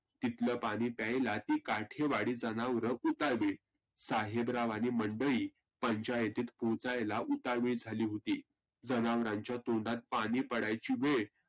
तिथलं पाणि प्यायला ती काठिवाडी जनावर उताविळ साहेबराव आणि मंडळी पंचायतीत पोहचायला उताविळ झाली होती. जनावरांच्या तोंडात पाणि पडायची वेळ